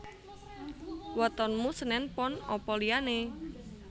Wetonmu senen pon apa liyane?